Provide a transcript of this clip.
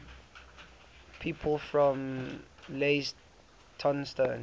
people from leytonstone